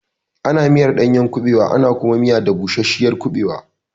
Ana miyar ɗanyar kuɓewa ana kuma miya da bushashiyar kuɓewa.